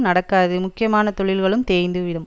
நடக்காது முக்கியமான தொழில்களும் தேய்ந்து விடும்